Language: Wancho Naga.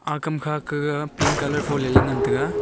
aa kamkha gag pink colour foleley ngan taga.